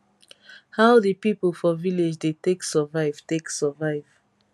how di pipo for village dey take survive take survive